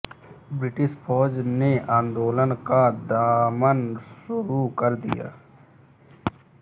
British फौज ने आंदोलन का दमन शुरू कर दिया